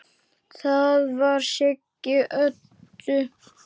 Það var Siggi Öddu.